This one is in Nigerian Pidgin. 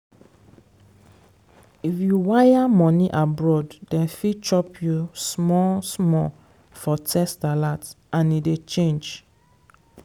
if you wire money abroad dem fit chop you small-small for text alert and e dey change.